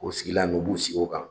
O sigila nu u b'u sigi o kan